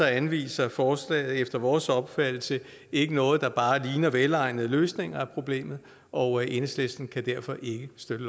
anviser forslaget efter vores opfattelse ikke noget der bare ligner en velegnet løsning af problemet og enhedslisten kan derfor ikke støtte